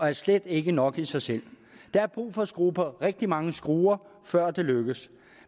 er slet ikke nok i sig selv der er brug for at skrue på rigtig mange skruer før det lykkes